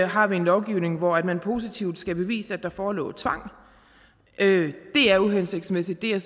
har en lovgivning hvor man positivt skal bevise at der forelå tvang det er uhensigtsmæssigt det er